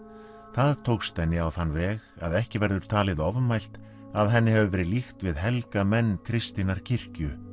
það tókst henni á þann veg að ekki verður talið ofmælt að henni hafi verið líkt við helga menn kristinnar kirkju